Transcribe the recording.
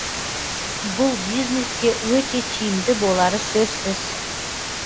бұл бизнеске өте тиімді болары сөзсіз